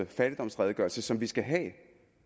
fattigdomsredegørelse som vi skal have